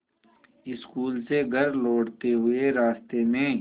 school से घर लौटते हुए रास्ते में